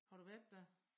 Har du været der?